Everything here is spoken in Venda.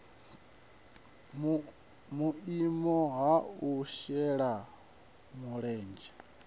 vhuimo ha u shela mulenzhe